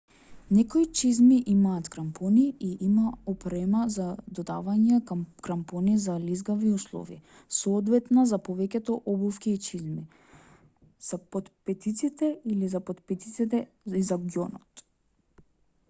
некои чизми имаат крампони и има опрема за додавање крампони за лизгави услови соодветна за повеќето обувки и чизми за потпетиците или и за потпетиците и за ѓонот